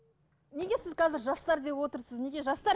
неге сіз қазір жастар деп отырсыз неге жастар